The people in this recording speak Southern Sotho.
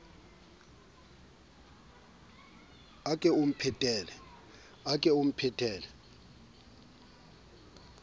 a o ke o mphetele